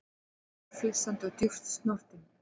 Hálfhissa og djúpt snortinn